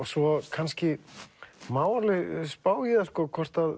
svo kannski má alveg spá í það hvort